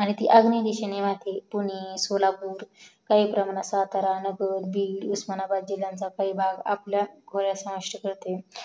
आणि ती आग्नेय दिशेने वाहते पुणे सोलापूर काही प्रमाणात सातारा नगर बीड उस्मानाबादचा काही भाग असे कळते